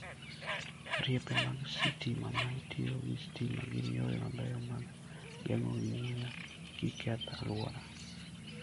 Riepe mag sitima ma tiyo gi stima gin yore mabeyo mag geng'o muya kik keth alwora.